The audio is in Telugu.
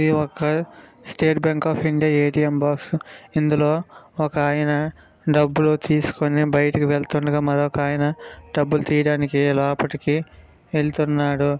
ఇది ఒక State Bank of India ATM box ఇందులో ఒకాయన డబ్బులు తీసుకుని బయటకు వెళుతుండగా మరొకాయన డబ్బులు తీయడానికి లోపలి వెళుతున్నాడు.